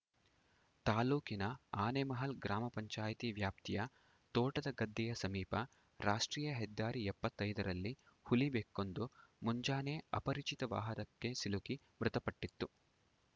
ತಾಲೂಕಿನ ಆನೆಮಹಲ್‌ ಗ್ರಾಮ ಪಂಚಾಯತಿ ವ್ಯಾಪ್ತಿಯ ತೋಟದಗದ್ದೆಯ ಸಮೀಪ ರಾಷ್ಟ್ರೀಯ ಹೆದ್ದಾರಿ ಎಪ್ಪತ್ತೈ ದರಲ್ಲಿ ಹುಲಿಬೆಕ್ಕೊಂದು ಮುಂಜಾನೆ ಅಪರಿಚಿತ ವಾಹನಕ್ಕೆ ಸಿಲುಕಿ ಮೃತಪಟ್ಟಿತ್ತು